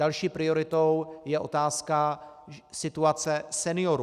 Další prioritou je otázka situace seniorů.